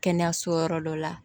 Kɛnɛyaso yɔrɔ dɔ la